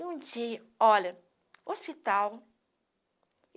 E um dia, olha, hospital.